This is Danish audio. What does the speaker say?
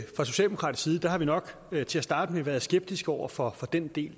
fra socialdemokratisk side har vi nok til at starte med været skeptiske over for den del